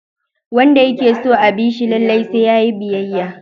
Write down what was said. Wanda yake so a bi shi lallai sai yayi biyayya.